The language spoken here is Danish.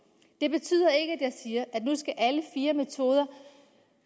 det betyder ikke at jeg siger at nu skal alle fire metoder